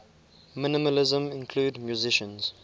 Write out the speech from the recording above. minimalism include musicians